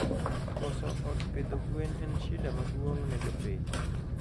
Koso od pidho gwen en shida maduong ne jopith